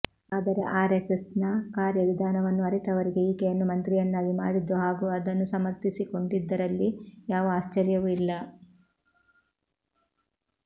ಆದರೆ ಆರೆಸ್ಸೆಸ್ನ ಕಾರ್ಯ ವಿಧಾನವನ್ನು ಅರಿತವರಿಗೆ ಈಕೆಯನ್ನು ಮಂತ್ರಿಯನ್ನಾಗಿ ಮಾಡಿದ್ದು ಹಾಗೂ ಅದನ್ನು ಸಮರ್ಥಿಸಿಕೊಂಡಿದ್ದರಲ್ಲಿ ಯಾವ ಆಶ್ಚರ್ಯವೂ ಇಲ್ಲ